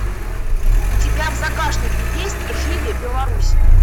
у тебя в загашнике есть жыве беларусь